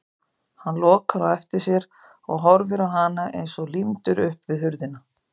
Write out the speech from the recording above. Hann lokar á eftir sér og horfir á hana eins og límdur upp við hurðina.